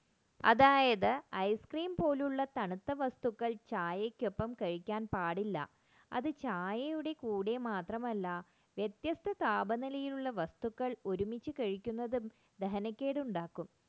അതായത് ice cream പോലുള്ള തണുത്ത വസ്തുക്കൾ ചായക്കൊപ്പം കഴിക്കാൻ പാടില്ല അത് ചായയുടെ കൂടെ മാത്രമല്ല വ്യത്യസ്ത താപനിലയുള്ള വസ്തുക്കൾ ഒരുമിച്ച് കഴിക്കുന്നതും ദഹനക്കേട് ഉണ്ടാക്കുന്നു